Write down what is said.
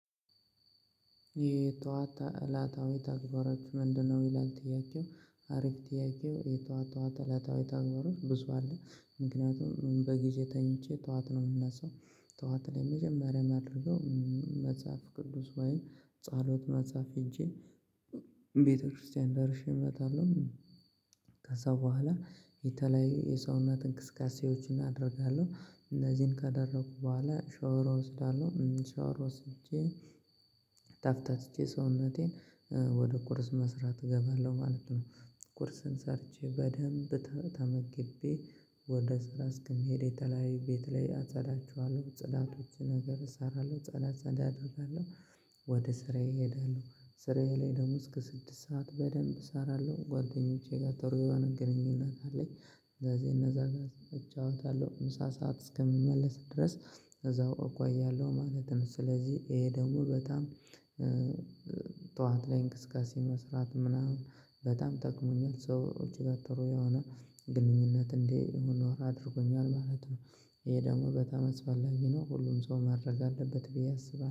የጠዋት እለታዊ ተግባራችሁ ምንድን ነው? ይላል ጥያቄው። አሪፍ ጥያቄ ነው። የጠዋት እለታዊ ተግባሮች ብዙ አሉ፤ ምክንያቱም በጊዜ ተኝቼ ጠዋት ነው የምነሣው። ጠዋት ላይ መጀመሪያ የማደርገው መጽሐፍ ቅዱስ ወይን ጸሎት መጽሐፍ ይዤ ቤተ ክርስቲያን ደርሼ እመጣለሁ፤ ከዚያ በኋላ የተለያዩ የሰውነት እንቅስቃሴዎችን አደርጋለሁ። እነዚህን ካደረግሁ በኋላ ሻወር እወስዳለሁ፤ ሻወር ወስጄ ተፍታትቼ፣ ሰውነቴን ወደ ቁርስ መስራት እገባለሁ ማለት ነው። ቁርስን ሰርቼ በደንብ ተመግቤ፣ ወደ ስራ እስክሄድ የተለያየ ቤት ላይ አጸዳዳለሁ፤ ጽዳቶችን ነገር እሰራለሁ፤ ጽዳት ጽዳት እሰራለሁ። ወደ ስራዬ እሄዳለሁ፤ ስራዬ ላይ ደግሞ እስከ ስድስት ሰዓት በደንብ እሰራለሁ። ከጓደኞቼ ጋር ጥሩ የሆነ ግንኙነት አለኝ፤ እንደዚህ እንደዚያ እጫወታለሁ ምሳ ሰዓት እስከሚደርስ ድረስ። እዚያው እቆያለሁ ማለት ነው። ስለዚህ ይህ ደግሞ በጣም ጠዋት ላይ እንቅስቃሴ መስራት ምናምን በጣም ጠቅሞኛል፤ ከሰው ጋር እጅግ ጥሩ የሆነ ግንኙነት እንዲኖረኝ አድርጎኛል ማለት ነው። ይህ ደግሞ በጣም አስፈላጊ ነው፤ ሁሉም ሰው ማድረግ አለበት ብዬ አስባለሁ።